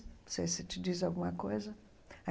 Não sei se te diz alguma coisa.